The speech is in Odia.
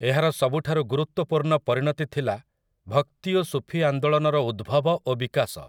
ଏହାର ସବୁଠାରୁ ଗୁରୁତ୍ୱପୂର୍ଣ୍ଣ ପରିଣତି ଥିଲା ଭକ୍ତି ଓ ସୁଫୀ ଆନ୍ଦୋଳନର ଉଦ୍ଭବ ଓ ବିକାଶ ।